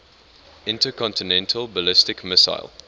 intercontinental ballistic missile